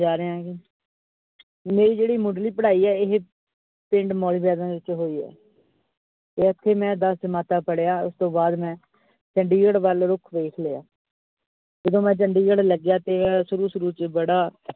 ਮੇਰੀ ਜਿਹੜੀ ਮੁਢਲੀ ਪੜਾਈ ਆ ਇਹ ਪਿੰਡ ਦੇ ਵਿਚ ਹੋਈ ਆ ਤੇ ਐਥੇ ਮੈਂ ਦਸ ਜਮਾਤਾਂ ਪੜਿਆ ਉਸਤੋਂ ਬਾਅਦ ਮੈਂ ਚੰਡੀਗੜ੍ਹ ਵਲ ਰੁੱਖ ਦੇਖ ਲਿਆ ਤੇ ਜਦੋਂ ਮੈਂ ਚੰਡੀਗੜ੍ਹ ਲੱਗਿਆ ਤੇ ਸ਼ੁਰੂ-ਸ਼ੁਰੂ ਚ ਬੜਾ।